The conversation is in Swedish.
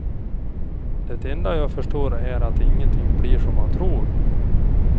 Det enda jag förstår är att ingenting blir som man tror.